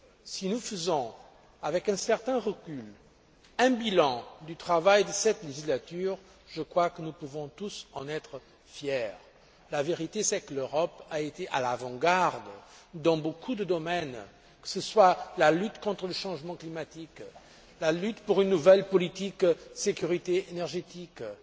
Si nous faisons, avec un certain recul, un bilan du travail de cette législature, je crois que nous pouvons tous en être fiers. La vérité, c'est que l'Europe a été à l'avant garde dans beaucoup de domaines, que ce soit la lutte contre le changement climatique, la lutte pour une nouvelle politique de sécurité énergétique et